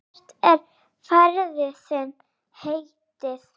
Hvert er ferð þinni heitið?